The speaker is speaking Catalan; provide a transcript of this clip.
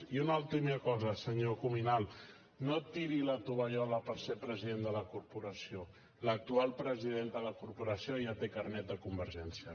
i una última cosa senyor cuminal no tiri la tovallola per ser president de la corporació l’actual president de la corporació ja té carnet de convergència